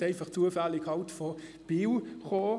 Diese kamen einfach zufällig aus Biel.